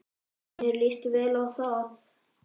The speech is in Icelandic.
Já, mér líst vel á það.